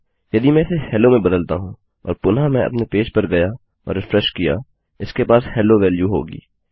यदि मैं इसे हेलो में बदलता हूँ और पुनः मैं अपने पेज पर गया और रिफ्रेशकिया इसके पास हेलो वेल्यू होगी